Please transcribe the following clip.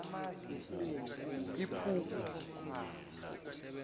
ephugu